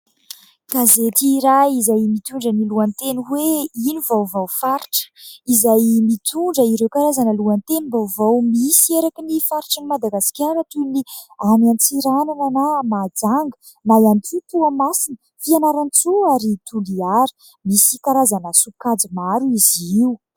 Gazety iray izay mitondra ny lohateny hoe :" ino vaovao faritra". Izay mitondra ireo karazana lohatenim-baovao misy eraky ny faritr'i Madagasikara toy ny any Antsiranana na Mahajanga, na ihany koa Toamasina, Fianarantsoa ary Toliara. Misy karazana sokajy maro izy io.